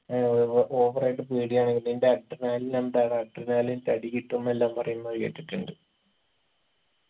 ഏർ over ആയിട്ട് പേടിയാണെങ്കില് നിന്റെ adrenaline എന്താടാ adrenaline തടികിട്ടുംന്നെല്ലാം പറയുന്നത് കേട്ടിട്ടുണ്ട്